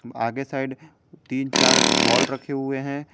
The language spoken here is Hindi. आगे साइड तीन चार बॉल रखे हुए हैं।